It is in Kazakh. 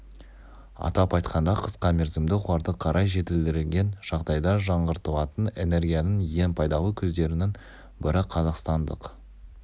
атап айтқанда қысқа мерзімді оларды қарай жетілдірген жағдайда жаңғыртылатын энергияның ең пайдалы көздерінің бірі қазақстандық